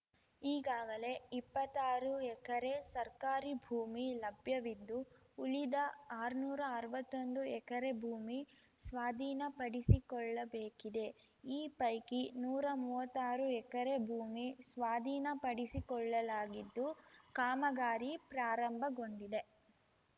ಈಗಾಗಲೆ ಇಪ್ಪತ್ತಾರು ಎಕರೆ ಸರ್ಕಾರಿ ಭೂಮಿ ಲಭ್ಯವಿದ್ದು ಉಳಿದ ಆರ್ನೂರಾ ಅರ್ವತ್ತೊಂದು ಎಕರೆ ಭೂಮಿ ಸ್ವಾಧೀನಪಡಿಸಿಕೊಳ್ಳಬೇಕಿದೆ ಈ ಪೈಕಿ ನೂರಾ ಮುವ್ವತ್ತಾರು ಎಕರೆ ಭೂಮಿ ಸ್ವಾಧೀನಪಡಿಸಿಕೊಳ್ಳಲಾಗಿದ್ದು ಕಾಮಗಾರಿ ಪ್ರಾರಂಭಗೊಂಡಿದೆ